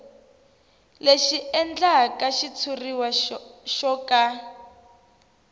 leswi endlaka xitshuriwa xo ka